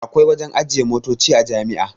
Akwai wajen ajiye motoci a jami'a